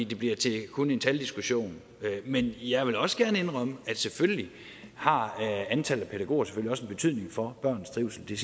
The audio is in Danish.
det bliver til kun en taldiskussion men jeg vil også gerne indrømme at selvfølgelig har antallet af pædagoger også en betydning for børnenes trivsel det